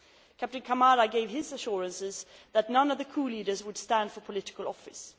Captain Camara gave his assurances that none of the coup leaders would stand for political office.